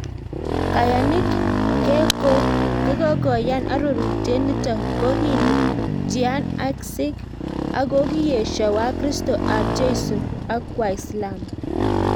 Kayanik khekokoyan aroruitiet nito ko Hindu jian ak sikh akokiesho Wakristo ab jeiso ak waislamu